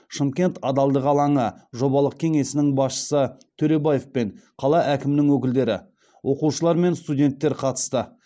шымкент адалдық алаңы жобалық кеңесінің басшысы төлебаев пен қала әкімінің өкілдері оқушылар мен студенттер қатысты